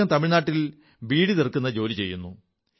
അദ്ദഹം തമിഴ്നാട്ടിൽ ബീഡിയുണ്ടാക്കുന്ന ജോലി ചെയ്യുന്നു